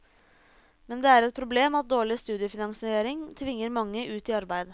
Men det er et problem at dårlig studiefinansiering tvinger mange ut i arbeid.